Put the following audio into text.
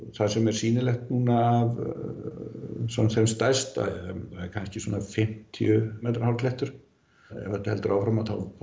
það sem er sýnilegt af þeim stærsta það er allavega fimmtíu metra hár klettur ef þetta heldur áfram